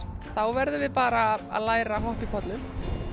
þá verðum við bara að læra að hoppa í pollum